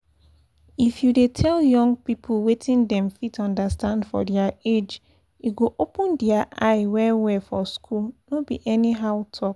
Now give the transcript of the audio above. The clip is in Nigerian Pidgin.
if you dey tell young people wetin dem fit understand for their age e go open their eye well-well for school no be anyhow talk.